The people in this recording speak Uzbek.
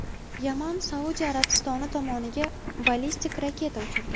Yaman Suadiya Arabistoni tomoniga ballistik raketa uchirdi.